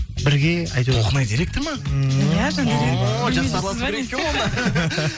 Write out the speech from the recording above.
бірге әйтеуір толқынай директор ма ммм о жақсы араласу керек екен ғой онда